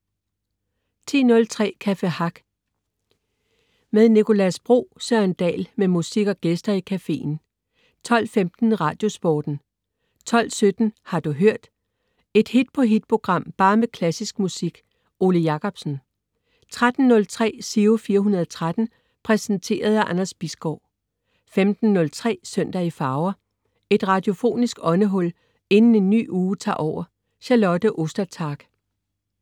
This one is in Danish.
10.03 Café Hack med Nicolas Bro. Søren Dahl med musik og gæster i caféen 12.15 Radiosporten 12.17 Har du hørt? Et hit-på-hit program, bare med klassisk musik. Ole Jacobsen 13.03 Giro 413. Præsenteret af Anders Bisgaard 15.03 Søndag i farver. Et radiofonisk åndehul inden en ny uge tager over. Charlotte Ostertag